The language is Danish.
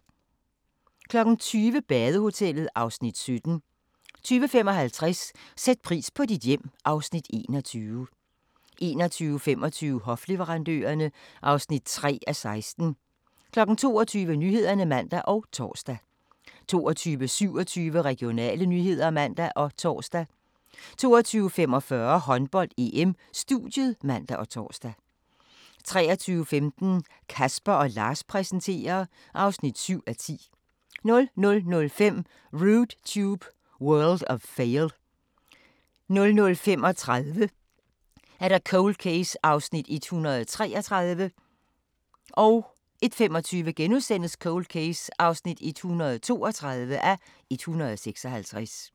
20:00: Badehotellet (Afs. 17) 20:55: Sæt pris på dit hjem (Afs. 21) 21:25: Hofleverandørerne (3:16) 22:00: Nyhederne (man og tor) 22:27: Regionale nyheder (man og tor) 22:45: Håndbold: EM - studiet (man og tor) 23:15: Casper & Lars præsenterer (7:10) 00:05: Rude Tube – World of Fail 00:35: Cold Case (133:156) 01:25: Cold Case (132:156)*